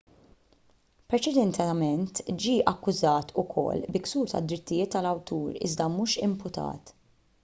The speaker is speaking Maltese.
preċedentement ġie akkużat ukoll bi ksur tad-drittijiet tal-awtur iżda mhux imputat